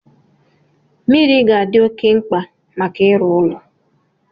Mmiri ga-adị oké mkpa maka ịrụ ụlọ